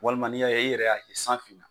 Walima n'i y'a ye i yɛrɛ y'a ye san finna,